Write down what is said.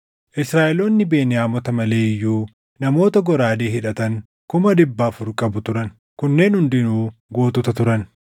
Israaʼeloonni Beniyaamota malee iyyuu namoota goraadee hidhatan kuma dhibba afur qabu turan; kunneen hundinuu gootota turan.